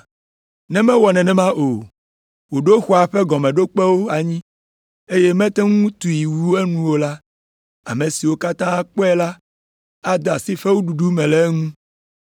Ne mewɔ nenema o, wòɖo xɔa ƒe gɔmeɖokpewo anyi, eye mete ŋu tui wu enu o la, ame siwo katã kpɔe la ade asi fewuɖuɖu le eŋu me.